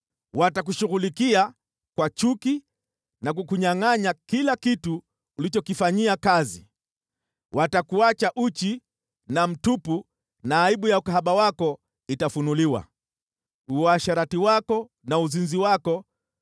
Watakushughulikia kwa chuki na kukunyangʼanya kila kitu ulichokifanyia kazi. Watakuacha uchi na mtupu na aibu ya ukahaba wako itafunuliwa. Uasherati wako na uzinzi wako